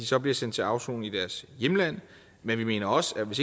så bliver sendt til afsoning i deres hjemland men vi mener også at hvis